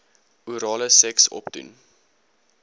orale seks opdoen